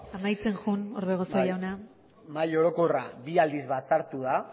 amaitzen joan orbegozo jauna bai mahai orokorra bi aldiz batzartu da